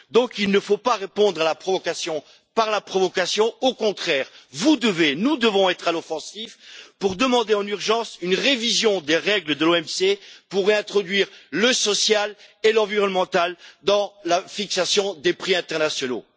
Donc il ne faut pas répondre à la provocation par la provocation, au contraire! Vous devez et nous devons être à l'offensive pour demander en urgence une révision des règles de l'OMC pour réintroduire le social et l'environnemental dans la fixation des prix internationaux.